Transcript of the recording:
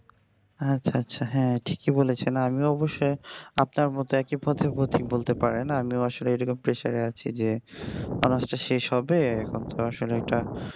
আচ্ছা আচ্ছা হ্যা ঠিকই বলেছেন আমি অবশ্য আপনার মতো একই পথের পথিক বলতে পারেন আমিও আসলে এরকম pressure আছি যে honours টা শেষ হবে এখন তো আসলে এইটা